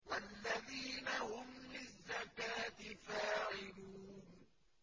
وَالَّذِينَ هُمْ لِلزَّكَاةِ فَاعِلُونَ